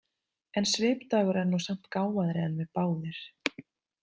En Svipdagur er nú samt gáfaðri en við báðir.